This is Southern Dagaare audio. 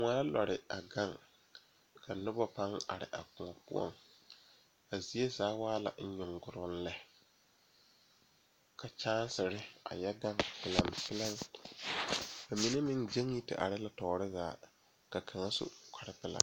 Noba la a kyɛne bamine de la wiɛ a yeere yeere baagre kaŋa soba meŋ e la gbɛre a zeŋ gbɛre saakere poɔ kyɛ kaa kaŋa soba paŋ daare o ,o meŋ yeere la baagi o puori.